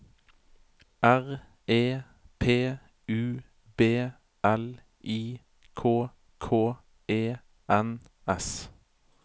R E P U B L I K K E N S